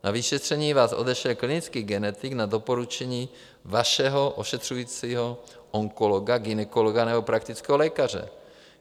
Na vyšetření vás odešle klinický genetik na doporučení vašeho ošetřujícího onkologa, gynekologa nebo praktického lékaře.